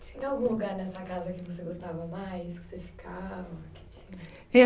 Tinha algum lugar nessa casa que você gostava mais